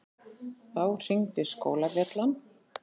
Þá hringdi skólabjallan.